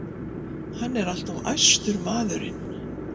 Hann er alltof æstur, maðurinn.